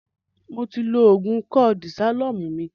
Mó ti lò oògùn ìkọ́ De-shalom mí